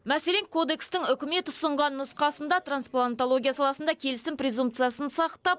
мәселен кодекстің үкімет ұсынған нұсқасында трансплантологияда саласында келісім презумпциясын сақтап